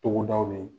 Togodaw de ye